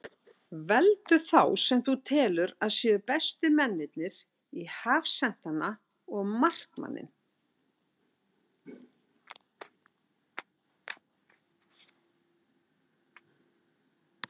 Veldu þá sem þú telur að séu bestu mennirnir í hafsentana og markmanninn.